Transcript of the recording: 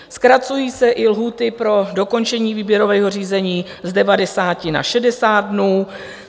Zkracují se i lhůty pro dokončení výběrového řízení z 90 na 60 dnů.